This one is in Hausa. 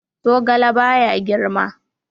Zogale ba ya girma.